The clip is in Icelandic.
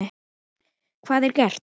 Hvað er gert?